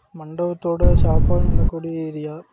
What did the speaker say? மண்டபத்தோட சாப்பாடு நடக்கூடிய ஏரியா .